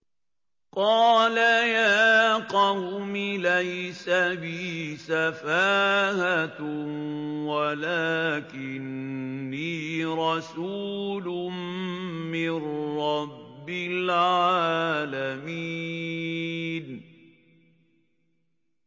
قَالَ يَا قَوْمِ لَيْسَ بِي سَفَاهَةٌ وَلَٰكِنِّي رَسُولٌ مِّن رَّبِّ الْعَالَمِينَ